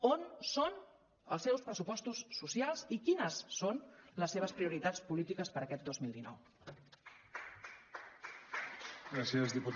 on són els seus pressupostos socials i quines són les seves prioritats polítiques per aquest dos mil dinou